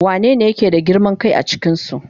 Wanene yake da girman kai a cikinsu?